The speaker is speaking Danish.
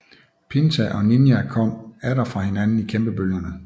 Pinta og Niña kom atter fra hinanden i kæmpebølgerne